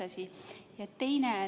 See on üks asi.